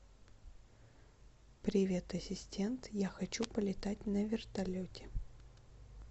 привет ассистент я хочу полетать на вертолете